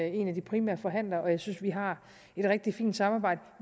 en af de primære forhandlere og jeg synes at vi har et rigtig fint samarbejde